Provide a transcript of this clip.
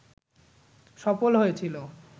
সফল হয়েছিল